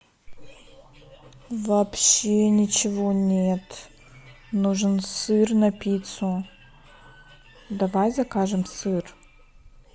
вообще ничего нет нужен сыр на пиццу давай закажем сыр